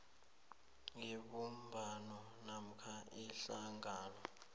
yebumbano namkha ihlangano